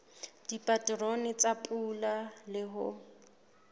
dipaterone tsa pula le ho